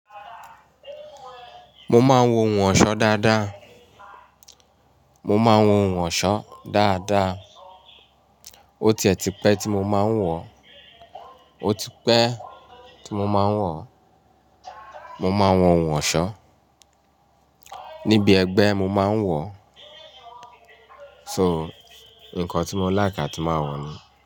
Mo máa ń wo ohun ọ̀ṣọ́ dáadáa. Mo máa ń wo ohun ọ̀ṣọ́ dáadáa. O ti ẹ̀ ti pẹ́ tí mo máa ń wọ̀ ọ́. O ti pẹ́ tí mo máa ń wọ̀ ọ́. Mo máa ń wo ohun ọ̀ṣọ́. Níbi ẹgbẹ́ mo máa ń wọ̀ ọ́. So, nǹkan tí mo láiki a ti máa wọ̀ ni.